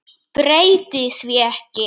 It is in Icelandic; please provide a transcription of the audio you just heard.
Breyti því ekki.